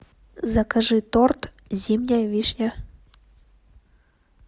закажи торт зимняя вишня